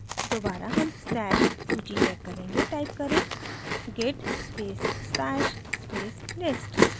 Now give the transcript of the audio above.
दोबारा हम stash सूची check करेंगे टाइप करें git space stash space list